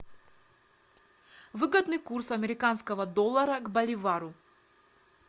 выгодный курс американского доллара к боливару